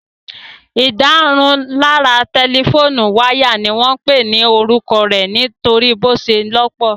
Ìdárunlárà tẹlifóònù wáyà ni wọ́n pè ní orúkọ rẹ̀ nítorí bí ó ṣe lọ́pọ̀